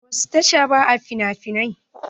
A wasu tashan ba a finafinai.